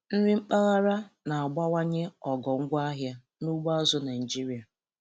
Nri mpaghara na-abawanye ogo ngwaahịa na ugbo azụ̀ Naịjiria.